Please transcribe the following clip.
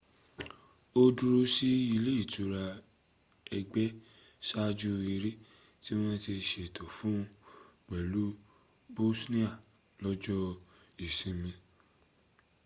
ó dúró sí ile itura ëgbẹ́ ṣáaju ẹrẹ́ tí wọ́n ti ṣètò fún pẹ̀lú bosnia lọ́jọ́ ìsinmi